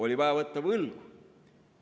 Oli vaja võtta võlgu.